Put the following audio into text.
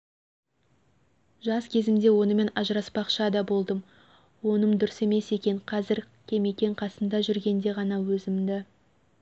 жас кезімде онымен ажыраспақша да болдым оным дұрыс емес екен қазір кемекең қасымда жүрегенде ғана өзімді